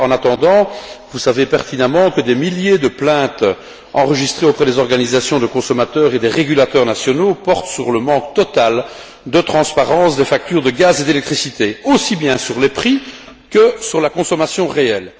En attendant, vous savez pertinemment que des milliers de plaintes enregistrées auprès des organisations de consommateurs et des régulateurs nationaux portent sur le manque total de transparence des factures de gaz et d'électricité, aussi bien sur les prix que sur la consommation réelle.